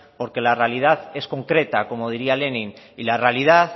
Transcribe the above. porque la realidad es concreta como diría lenin y la realidad